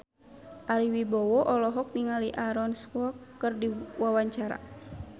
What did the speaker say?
Ari Wibowo olohok ningali Aaron Kwok keur diwawancara